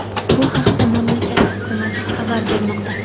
Bu haqda mamlakat hukumati xabar bermoqda.